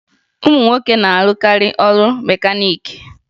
Ụmụ nwoke na-arụkarị ọrụ mekaniiki